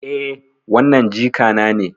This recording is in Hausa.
Eh, wannan jikana ne.